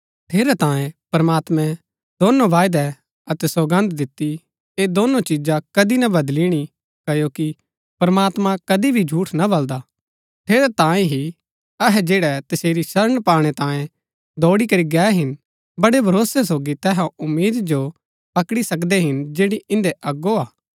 ठेरैतांये प्रमात्मैं दोनो वायदा अतै सौगन्द दिती ऐह दोनों चिजा कदी ना बदलिणी क्ओकि प्रमात्मां कदी भी झूठ ना बलदा ठेरैतांये ही अहै जैड़ै तसेरी शरण पाणै तांये दौड़ी करी गै हिन बड़ै भरोसै सोगी तैहा उम्मीद जो पकड़ी सकदै हिन जैड़ी इन्दै अगो हा